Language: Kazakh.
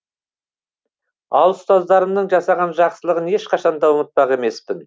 ал ұстаздарымның жасаған жақсылығын ешқашан да ұмытпақ емеспін